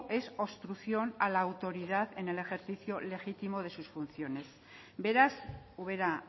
es obstrucción a la autoridad en el ejercicio legítimo de sus funciones beraz ubera